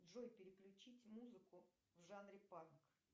джой переключить музыку в жанре панк